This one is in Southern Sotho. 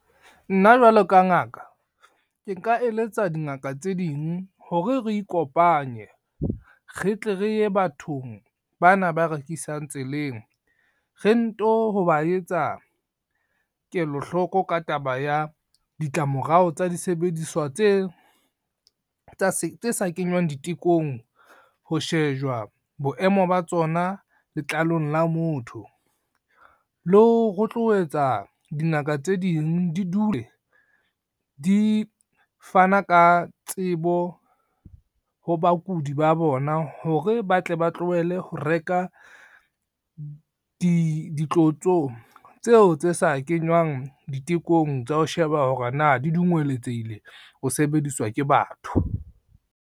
Nna jwalo ka ngaka, ke nka eletsa dingaka tse ding hore re ikopanye re tle re ye bathong bana ba rekisang tseleng, re nto ho ba etsa kelohloko ka taba ya ditlamorao tsa disebediswa tse sa kenywang ditekong, ho shejwa boemo ba tsona letlalong la motho. Le ho rotloetsa dingaka tse ding di dule di fana ka tsebo, ho bakudi ba bona hore ba tle ba tlohele ho reka ditlotso tseo tse sa kenywang ditekong tsa ho sheba hore na di dungweletsehile ho sebediswa ke batho.